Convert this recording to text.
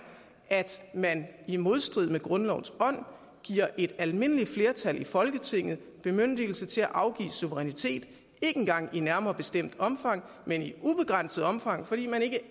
at man i modstrid med grundlovens ånd giver et almindeligt flertal i folketinget bemyndigelse til at afgive suverænitet ikke engang i et nærmere bestemt omfang men i ubegrænset omfang fordi man ikke